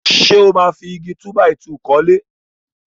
Ṣé ó máa fi Igi túbàìtuù kọ́lé?